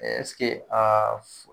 aa f